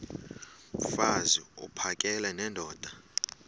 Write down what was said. mfaz uphakele nendoda